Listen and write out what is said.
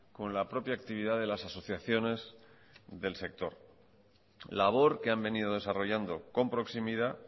con la propia actividad de las asociaciones del sector labor que han venido desarrollando con proximidad